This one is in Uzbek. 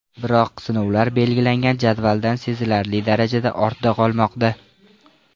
Biroq sinovlar belgilangan jadvaldan sezilarli darajada ortda qolmoqda.